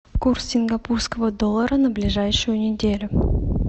курс сингапурского доллара на ближайшую неделю